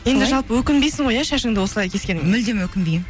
жалпы өкінбейсің ғой иә шашыңды осылай кескеніңе мүлдем өкінбеймін